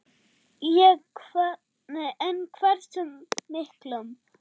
En hversu miklum?